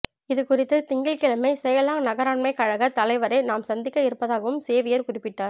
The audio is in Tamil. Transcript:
இது குறித்துத் திங்கட்கிழமை செலயாங் நகராண்மைக் கழகத் தலைவரைத் தாம் சந்திக்க இருப்பதாகவும் சேவியர் குறிப்பிட்டார்